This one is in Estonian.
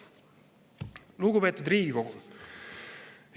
Lugupeetud Riigikogu!